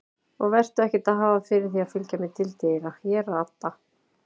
Og vertu ekkert að hafa fyrir því að fylgja mér til dyra, ég rata.